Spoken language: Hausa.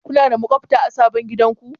Kuna da maƙwabta a sabon gidanku?